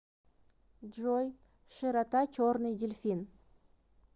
джой широта черный дельфин